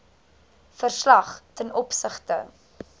verslag ten opsigte